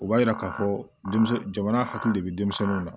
O b'a jira k'a fɔ denmisɛnnin hakili de bɛ denmisɛnninw na